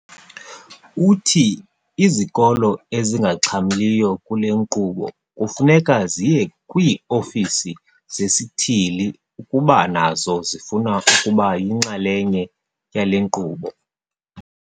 Uthi izikolo ezingaxhamliyo kule nkqubo kufuneka ziye kwii-ofisi zesithili ukuba nazo zifuna ukuba yinxalenye yale nkqubo.